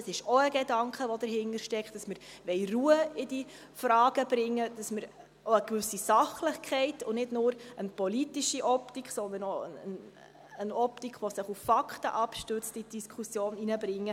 Es ist auch ein Gedanke, der dahintersteckt, dass wir Ruhe in die Fragen bringe wollen, damit wir auch eine gewisse Sachlichkeit und nicht nur eine politische Optik, sondern auch eine Optik, die sich auf Fakten abstützt, in die Diskussion bringen.